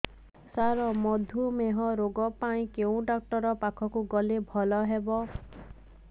ସାର ମଧୁମେହ ରୋଗ ପାଇଁ କେଉଁ ଡକ୍ଟର ପାଖକୁ ଗଲେ ଭଲ ହେବ